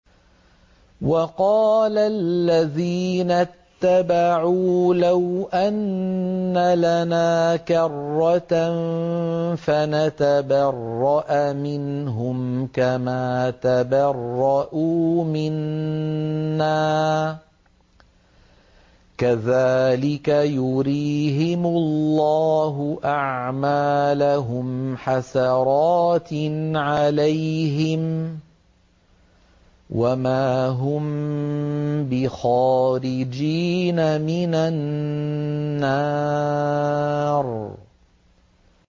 وَقَالَ الَّذِينَ اتَّبَعُوا لَوْ أَنَّ لَنَا كَرَّةً فَنَتَبَرَّأَ مِنْهُمْ كَمَا تَبَرَّءُوا مِنَّا ۗ كَذَٰلِكَ يُرِيهِمُ اللَّهُ أَعْمَالَهُمْ حَسَرَاتٍ عَلَيْهِمْ ۖ وَمَا هُم بِخَارِجِينَ مِنَ النَّارِ